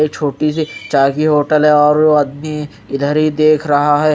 एक छोटी सी होटल है और वो आदमी इधर ही देख रहा है।